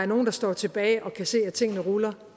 nogle der står tilbage og kan se at tingene ruller